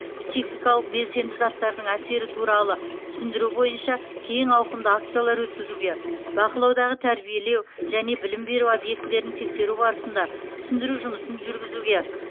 психикалық белсенді заттардың әсері туралы түсіндіру бойынша кең ауқымды акциялар өткізуге бақылаудағы тәрбиелеу және білім беру объектілерін тексеру барысында түсіндіру жұмысын жүргізуге